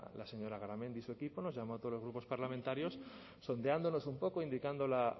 la señora garamendi y su equipo nos llamó a todos los grupos parlamentarios sondeándonos un poco indicando la